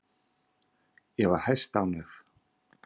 Ég var hæstánægð.